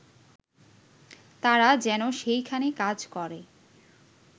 তারা যেন সেইখানে কাজ করে